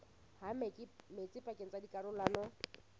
ha metsi pakeng tsa dikarolwana